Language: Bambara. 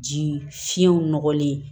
Ji fiɲɛw nɔgɔlen